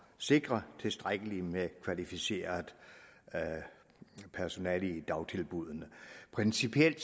sikre tilstrækkeligt med kvalificeret personale i dagtilbuddene principielt